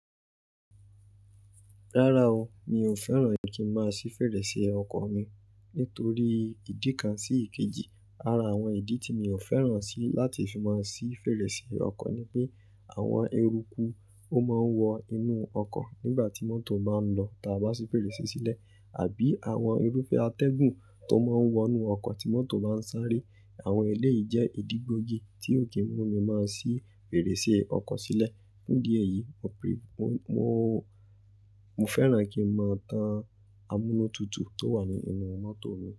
Rárá o, mi ò fẹ́ràn kí n máa ṣí fèrèsé ọkọ̀ mi nítorí ìdí kan sí ìkejì. Ara àwọn ìdí tí mi ò fẹ́ràn sí láti fi máa ṣí fèrèsé ọkọ̀ ni pé àwọn eruku ó máa ń wọ inú ọkọ̀ nígbà tí mọ́tò baa ń lọ tá bá ṣí fèrèsé sílẹ̀, àbí àwọn irúfẹ́ atẹ́gùn tó máa ń wọnú ọkọ̀ tí mọ́tò baa ń sáré. Àwọn ẹlẹ́ yìí jẹ́ ìdí gbógi tí ó kì í mú mi máa ṣí fèrèsé ọkọ̀ sílẹ̀. Ní díẹ̀ yìí, mo fẹ́ràn kí n máa tanamúnútutù tó wà ní inú mọ́tò mi.